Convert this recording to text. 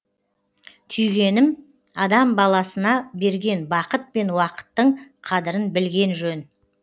түйгенім адам баласына берген бақыт пен уақыттың қадірін білген жөн